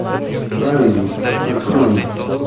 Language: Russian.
праведник открой мне